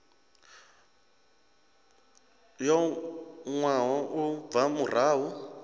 yo wanwaho u bva murahu